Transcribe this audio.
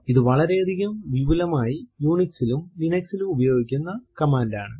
ഇത് വളരെയധികം വിപുലമായി Unix ലും Linux ലും ഉപയോഗിക്കുന്ന കമാൻഡ് ആണ്